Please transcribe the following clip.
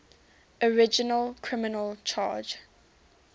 original criminal charge